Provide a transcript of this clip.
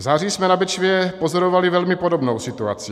V září jsme na Bečvě pozorovali velmi podobnou situaci.